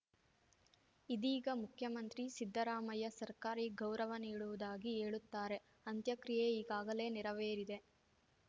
ಇದೀಗ ಮುಖ್ಯಮಂತ್ರಿ ಸಿದ್ದರಾಮಯ್ಯ ಸರ್ಕಾರಿ ಗೌರವ ನೀಡುವುದಾಗಿ ಹೇಳುತ್ತಾರೆ ಅಂತ್ಯಕ್ರಿಯೆ ಈಗಾಗಲೇ ನೆರವೇರಿದೆ